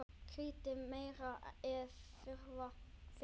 Kryddið meira ef þurfa þykir.